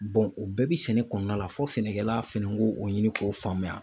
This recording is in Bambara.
o bɛɛ bi sɛnɛ kɔnɔna la fo sɛnɛkɛla fɛnɛ k'o ɲini k'o faamuya.